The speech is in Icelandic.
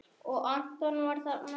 Og Anton var þarna.